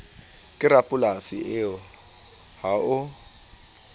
ke rapolasi eo ha o